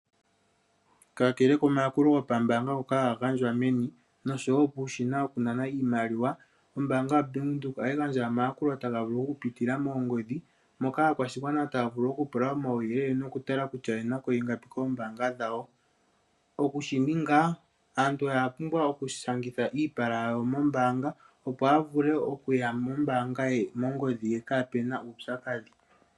Kakele komayakulo gombaanga ngoka ha ga gandjwa meni, osho woo puushina wo ku nana iimaliwa. Ombaanga ya Bank Windhoek oha yi gandja omayakulo ta ga vulu oku pitila moongodhi moka aakwashigwana taya vulu oku pula omauyelele noku tala kutya oyenako ingapi koombaanga dhawo. Oku shi ninga, aantu oya pumbwa oku shangitha iipala yawo mombaanga opo ya vule okuya mongodhi ye kaapuna uupyakadhi.